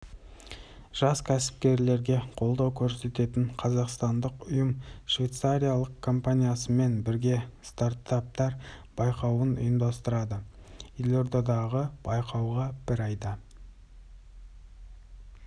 жас кәсіпкерлерге қолдау көрсететін қазақстандық ұйым швейцариялық компаниясымен бірге стартаптар байқауын ұйымдастырды елордадағы байқауға бір айда